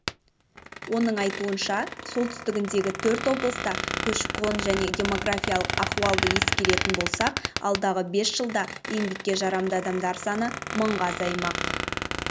оның айтуынша солтүстігіндегі төрт облыста көші-қон және демографиялық ахуалды ескеретін болсақ алдағы бес жылда еңбекке жарамды адамдар саны мыңға азаймақ